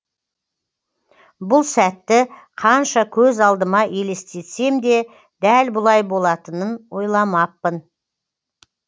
бұл сәтті қанша көз алдыма елестетсем де дәл бұлай болатынын ойламаппын